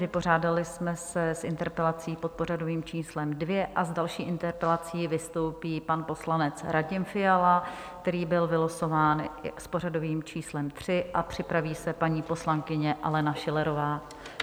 Vypořádali jsme se s interpelací pod pořadovým číslem 2 a s další interpelací vystoupí pan poslanec Radim Fiala, který byl vylosován s pořadovým číslem 3, a připraví se paní poslankyně Alena Schillerová.